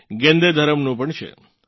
ગેંદેધરમનું પણ છે